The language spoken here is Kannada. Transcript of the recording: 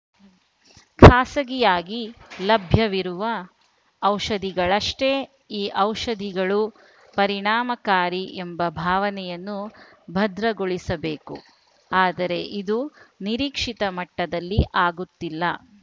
ಖಾಸಗಿಯಾಗಿ ಲಭ್ಯವಿರುವ ಔಷಧಿಗಳಷ್ಟೇ ಈ ಔಷಧಿಗಳೂ ಪರಿಣಾಮಕಾರಿ ಎಂಬ ಭಾವನೆಯನ್ನು ಭದ್ರಗೊಳಿಸಬೇಕು ಆದರೆ ಇದು ನಿರೀಕ್ಷಿತ ಮಟ್ಟದಲ್ಲಿ ಆಗುತ್ತಿಲ್ಲ